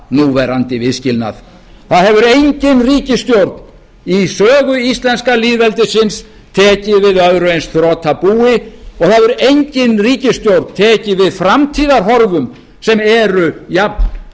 núverandi viðskilnað það hefur engin ríkisstjórn í sögu íslenska lýðveldisins tekið við öðru eins þrotabúi og það hefur engin ríkisstjórn tekið við framtíðarhorfum sem eru jafndökkar